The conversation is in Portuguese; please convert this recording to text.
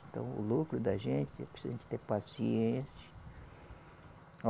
Então o lucro da gente é preciso a gente ter paciência.